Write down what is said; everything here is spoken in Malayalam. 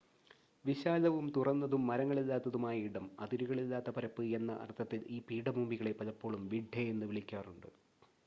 "വിശാലവും തുറന്നതും മരങ്ങളില്ലാത്തതുമായ ഇടം അതിരുകളില്ലാത്ത പരപ്പ് എന്ന അർത്ഥത്തിൽ ഈ പീഠഭൂമികളെ പലപ്പോഴും "വിഡ്ഡെ" എന്ന് വിളിക്കാറുണ്ട്.